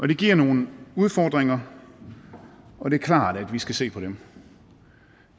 det giver nogle udfordringer og det er klart at vi skal se på dem